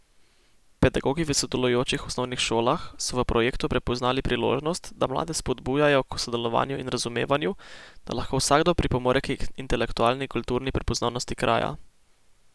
Pedagogi v sodelujočih osnovnih šolah so v projektu prepoznali priložnost, da mlade spodbujajo k sodelovanju in razumevanju, da lahko vsakdo pripomore k intelektualni in kulturni prepoznavnosti kraja.